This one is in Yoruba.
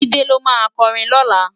JIde ló má kòrin lòlá